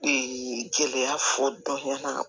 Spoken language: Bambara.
gɛlɛya fɔ dɔnya